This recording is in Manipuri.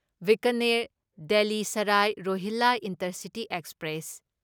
Bikaner Delhi Sarai Rohilla intercity express